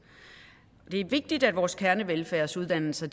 det er vigtigt at vores kernevelfærdsuddannelser